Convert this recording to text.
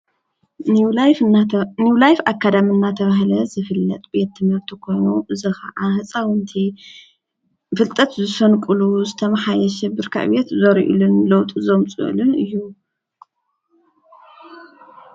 ኒው ላይፍ አካዳሚ እናተበሃለ ዝፍለጥ ቤት ትምህርቲ ኮይኑ፤ እዚ ከዓ ህፃውንቲ ፍልጠት ዝሰንቅሉ ዝተመሓየሸ ብርኪ ዕቤት ዘርእይሉን ለውጢ ዘምፅእሉን እዩ፡፡